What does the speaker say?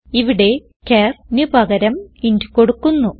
ഇവിടെ charന് പകരം ഇന്റ് കൊടുക്കുന്നു